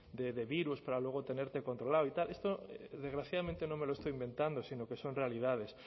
de virus para luego tenerte controlado y tal esto desgraciadamente no me lo estoy inventando sino que son realidades